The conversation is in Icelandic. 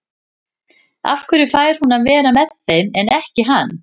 Af hverju fær hún að vera með þeim en ekki hann?